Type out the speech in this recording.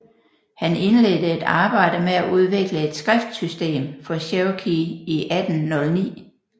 Han indledte et arbejde med at udvikle et skriftsystem for cherokee i 1809